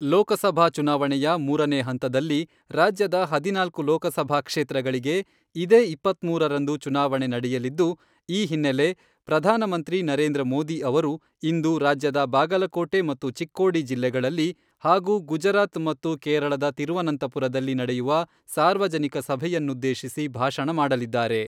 ಲೋಕಸಭಾ ಚುನಾವಣೆಯ ಮೂರನೇ ಹಂತದಲ್ಲಿ ರಾಜ್ಯದ ಹದಿನಾಲ್ಕು ಲೋಕಸಭಾ ಕ್ಷೇತ್ರಗಳಿಗೆ ಇದೇ ಇಪ್ಪತ್ಮೂರರಂದು ಚುನಾವಣೆ ನಡೆಯಲಿದ್ದು, ಈ ಹಿನ್ನೆಲೆ, ಪ್ರಧಾನಮಂತ್ರಿ ನರೇಂದ್ರ ಮೋದಿ ಅವರು ಇಂದು ರಾಜ್ಯದ ಬಾಗಲಕೋಟೆ ಮತ್ತು ಚಿಕ್ಕೋಡಿ ಜಿಲ್ಲೆಗಳಲ್ಲಿ ಹಾಗೂ ಗುಜರಾತ್ ಮತ್ತು ಕೇರಳದ ತಿರುವನಂತಪುರದಲ್ಲಿ ನಡೆಯುವ ಸಾರ್ವಜನಿಕ ಸಭೆಯನ್ನುದ್ದೇಶಿಸಿ ಭಾಷಣ ಮಾಡಲಿದ್ದಾರೆ.